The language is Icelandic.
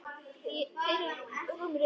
Fyrir rúmri viku.